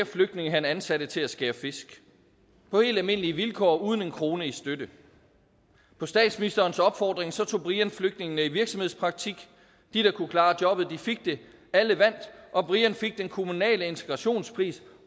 flygtninge han ansatte til at skære fisk på helt almindelige vilkår uden en krone i støtte på statsministerens opfordring tog brian flygtningene i virksomhedspraktik de der kunne klare jobbet fik det alle vandt og brian fik den kommunale integrationspris